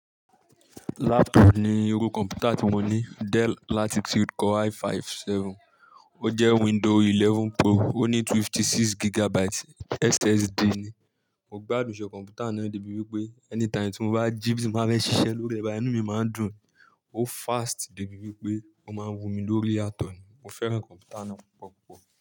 Laptop ni irú kọ̀m̀pútà tí mo ní. Dell Latitude Core i5 7. Ó jẹ́ window 11 Pro. Ó ní 56 gigabyte SSD ni. Mo gbádùn iṣẹ́ kọ̀m̀pútà náà ní débí wípé anytime tí mo bá ji, ti n ba fẹ́ ṣiṣẹ́ lórí e bá yi, inu mi máa ń dùn. Ó fast débí wípé ó máa ń wuni lórí yatọ̀ ni. Mo fẹ́ràn kọ̀m̀pútà náà púpọ̀ púpọ̀